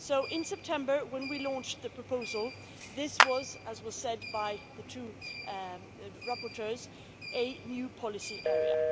In September when we launched the proposal, this was, as was said by the two rapporteurs, a new policy area.